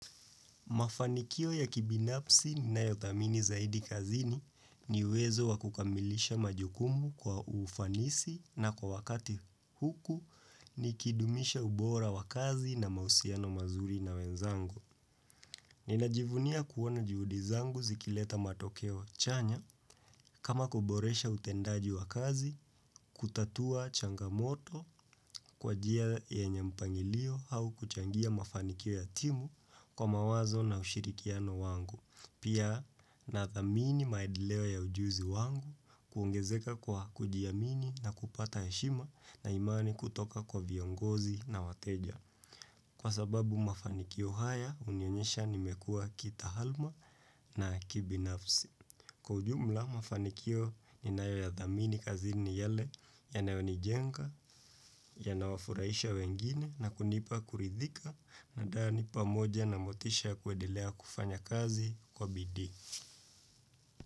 Mafanikio ya kibinafsi ninayothamini zaidi kazini ni uwezo wakukamilisha majukumu kwa ufanisi na kwa wakati huku nikidumisha ubora wakazi na mahusiano mazuri na wenzangu. Ninajivunia kuona juhudi zangu zikileta matokeo chanya kama kuboresha utendaji wakazi, kutatua changamoto kwa njia ya mpangilio au kuchangia mafanikio ya timu kwa mawazo na ushirikiano wangu. Pia nathamini maendeleo ya ujuzi wangu kuongezeka kwa kujiamini na kupata heshima na imani kutoka kwa viongozi na wateja. Kwa sababu mafanikio haya, hunionyesha nimekuwa kitahalma na kibinafsi. Kwa ujumla mafanikio ninayoyathamini kazi ni yale yanayonijenga, yanawafurahisha wengine na kunipa kurithika na da nipa moja na motisha kwendelea kufanya kazi kwa bidii.